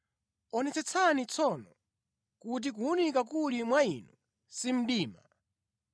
Onetsetsani tsono, kuti kuwunika kuli mwa inu si mdima.